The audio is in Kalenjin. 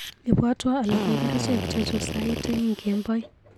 Ibwatwa alugui kerichek chechu sait aeng kemboi.